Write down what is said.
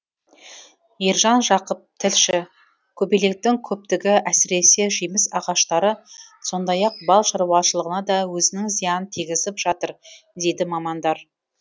ержан жақып тілші көбелектің көптігі әсіресе жеміс ағаштары сондай ақ бал шарушылығына да өзінің зиянын тигізіп жатыр дейді мамандар